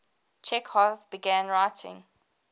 chekhov began writing